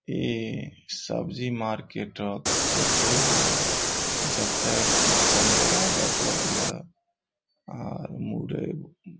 ई सब्जी मार्किट अ फोटो हिय। जता की संतरा लगल हिय और मुरई --